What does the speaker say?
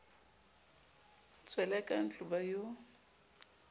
tswele ka ntlo ba yo